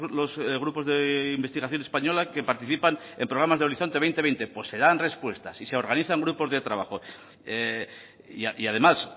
los grupos de investigación española que participan en programas de horizonte dos mil veinte pues se dan respuestas y se organizan grupos de trabajo y además